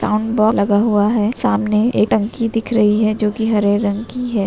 लगा हुआ है| सामने एक टंकी दिख रही है जोकि हरे रंग कि है |